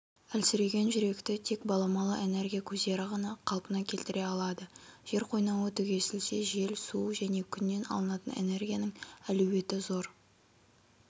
әлсіреген жүректі тек баламалы энергия көздері ғана қалпына келтіре алады жер қойнауы түгесілсе жел су және күннен алынатын энергияның әлеуеті зор